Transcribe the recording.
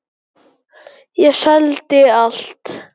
Ég seldi allt.